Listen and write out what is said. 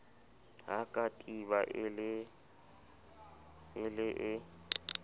ha katiba e le e